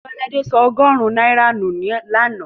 Tiwaladé sọ ọgọ́rùn-ún náírà nù lánàá.